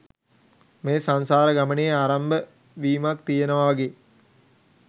මේ සංසාර ගමනේ ආරම්භ වීමක් තියෙනවා වගේ